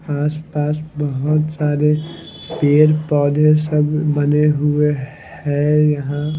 आस पास बहोत सारे पेड़ पौधे सब बने हुए हैं यहां--